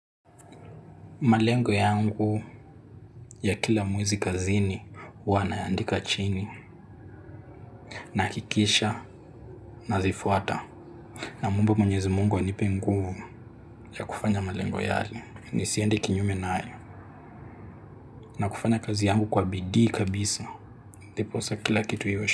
Malengo yangu ya kila mwezi kazini huwa nayaandika chini nakikisha nazifuata. Namuomba mwenyezi mungu anipe nguvu ya kufanya malengo yale nisiende kinyume naye na kufanya kazi yangu kwa bidii kabisa. Ndiposa kila kitu iwe.